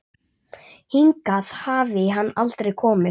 Hingað hafi hann aldrei komið.